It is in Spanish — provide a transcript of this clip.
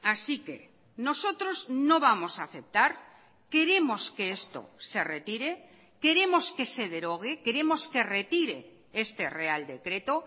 así que nosotros no vamos a aceptar queremos que esto se retire queremos que se derogue queremos que retire este real decreto